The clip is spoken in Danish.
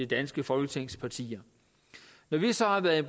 danske folketings partier når vi så har været i